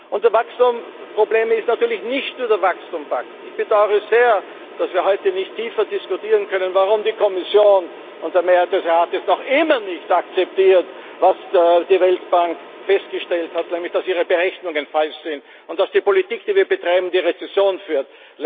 Und das Problem ist natürlich nicht nur der Wachstumspakt. Ich bedaure es sehr, dass wir heute nicht eingehender diskutieren können, warum die Kommission und die Mehrheit des Rates noch immer nicht akzeptieren, was die Weltbank festgestellt hat, nämlich, dass ihre Berechnungen falsch sind und dass die Politik, die wir betreiben, in die Rezession führt.